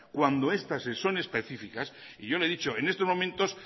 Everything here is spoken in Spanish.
cuando estas son específicas y yo le he dicho en estos momentos